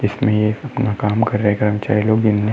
इसमें ये अपना काम कर रहे कर्मचारी लोग दिन में।